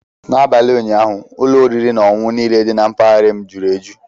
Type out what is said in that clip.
N'abalị ụnyaahụ, ụlọ oriri na ọṅụṅụ niile dị na mpaghara m jury eju.